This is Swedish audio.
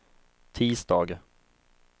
tisdag